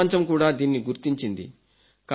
ప్రపంచం కూడా దీన్ని గుర్తించింది